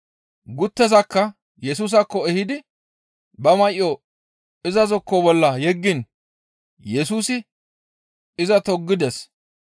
Guttezakka Yesusaakko ehidi ba may7o iza zokko bolla yeggiin Yesusi iza toggides.